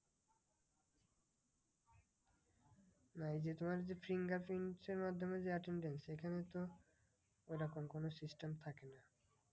না এই যে তোমার যে fingerprint এর মাধ্যমে যে attendance এখানেতো ওই রকম কোনো system থাকে না।